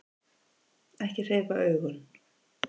Ekki hreyfa augun.